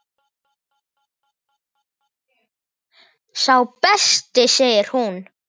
Sá besti segir hún.